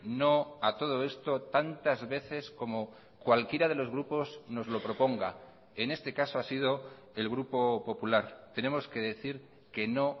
no a todo esto tantas veces como cualquiera de los grupos nos lo proponga en este caso ha sido el grupo popular tenemos que decir que no